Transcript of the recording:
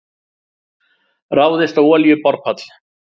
Ráðist á olíuborpall